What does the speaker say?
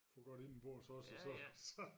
Får godt indenbords også og så så